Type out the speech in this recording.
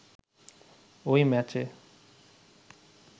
ওই ম্যাচে